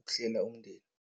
ukuhlela umndeni.